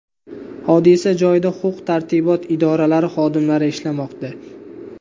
Hodisa joyida huquq-tartibot idoralari xodimlari ishlamoqda.